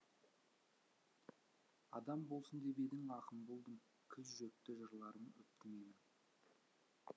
адам болсын деп едің ақын болдым кіл жүректі жырларым өпті менің